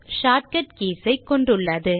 shortcut keys கொண்டுள்ளது